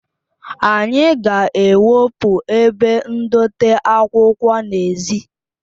Anyị ga-ewepụ ebe ndote akwụkwọ n'èzí